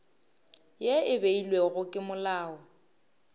ye e beilwego ke molao